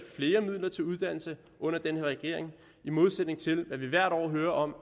flere midler til uddannelse under den her regering i modsætning til at vi hvert år hører om